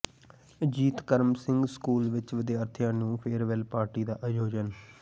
Ajit Karam Singh school ਵਿੱਚ ਵਿਦਿਆਰਥੀਆਂ ਨੂੰ ਫੇਅਰਵੈੱਲ ਪਾਰਟੀ ਦਾ ਆਯੋਜਨ